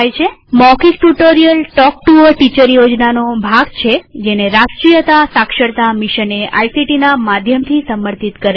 મૌખિક tutorial talk to a teacher યોજનાનો ભાગ છેજેને રાષ્ટ્રીય સાક્ષરતા મિશને આઇસીટી ના માધ્યમથી સમર્થિત કરેલ છે